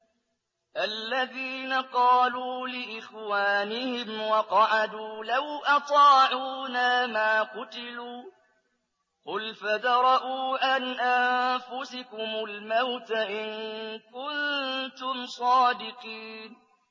الَّذِينَ قَالُوا لِإِخْوَانِهِمْ وَقَعَدُوا لَوْ أَطَاعُونَا مَا قُتِلُوا ۗ قُلْ فَادْرَءُوا عَنْ أَنفُسِكُمُ الْمَوْتَ إِن كُنتُمْ صَادِقِينَ